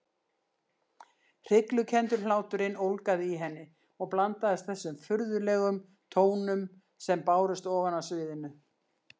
Hryglukenndur hláturinn ólgaði í henni og blandaðist þessum furðulegum tónum sem bárust ofan af sviðinu.